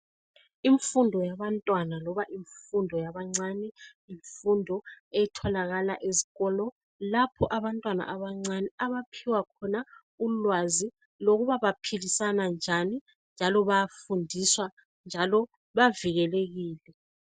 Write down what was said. Imfundo yabantwana loba imfundo yabancane yimfundo etholakala ezikolo, lapho abantwana abancane abaphiwa khona ulwazi lokuba baphilisana njani njalo bayafundiswa njalo bavikelekile.